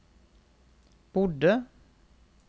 bodde